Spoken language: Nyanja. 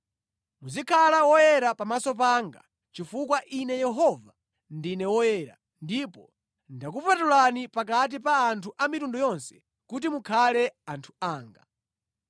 Muzikhala woyera pamaso panga chifukwa Ine Yehova, ndine woyera ndipo ndakupatulani pakati pa anthu a mitundu yonse kuti mukhale anthu anga.